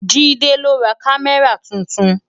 Jide lò rá Kàmárá tútún